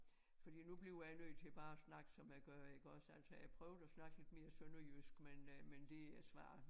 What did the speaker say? Fordi nu bliver jeg nødt til bare at snakke som jeg gør iggås altså jeg prøvede at snakke lidt mere sønderjysk men øh men det er svært